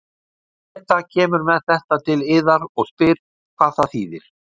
Beta kemur með þetta til yðar og spyr hvað það þýðir.